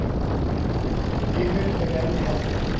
Hinir eru enn í haldi